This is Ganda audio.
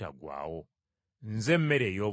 Nze mmere ey’obulamu.